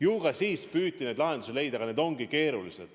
Ju ka siis püüti lahendusi leida, aga need ongi keerulised.